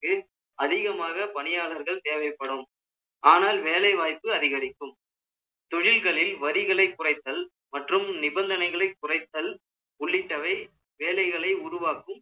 அதிகமாக பணியாளர்கள் தேவைப்படும் ஆனால் வேலை வாய்ப்பு அதிகரிக்கும் தொழில்களில் வரிகளை குறைத்தல் மற்றும் நிபந்தனைகளை குறைத்தல், உள்ளிட்டவை வேலைகளை உருவாக்கும்